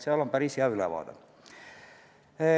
Seal on päris hea ülevaade.